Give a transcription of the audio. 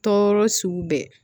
Tɔɔrɔ sugu bɛɛ